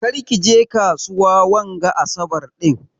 Ƙar ki je kasuwa wanga asaɓar din.